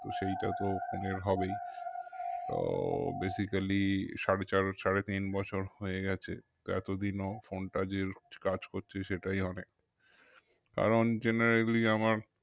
তো সেটা তো এর হবেই তো basically সাড়ে চার সাড়ে তিন বছর হয়ে গেছে এতদিনও phone টা যে রোজ কাজ করছে সেটাই অনেক কারণ generally আমার